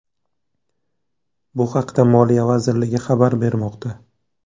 Bu haqda Moliya vazirligi xabar bermoqda .